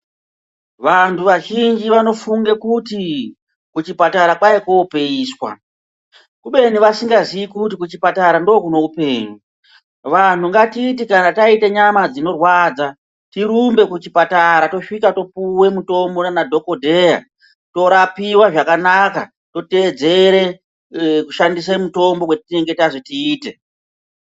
Vantu vazhinji vanofunge kuti kuchipatara kwai kopeyiswa kubeni vasingaziyi kuti kuchipatara ndokune upenyu, vantu ngatiti kana taite nyama dzinorwadza tirumbe kuchipatara tosvike topuwe mutombo nanadhokodheya torapiwa zvakanaka toteedzere kushandise mutombo kwatinenge tazi tiite.